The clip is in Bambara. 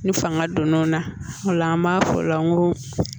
Ni fanga donn'o na o la an b'a fɔ o la n ko